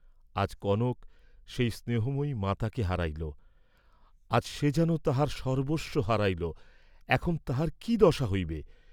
আজ কনক সেই স্নেহময়ী মাতাকে হারাইল, আজ সে যেন তাহার সর্ব্বস্ব হারাইল, এখন তাহার কি দশা হইবে?